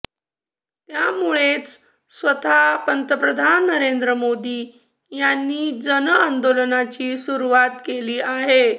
यामुळेच स्वतः पंतप्रधान नरेंद्र मोदी यांनी जन आंदोलनाची सुरुवात केली आहे